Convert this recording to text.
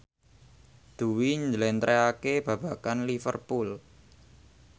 Dwi njlentrehake babagan Liverpool